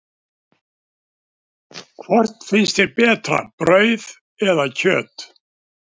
Hvort finnst þér betra, brauð eða kjöt?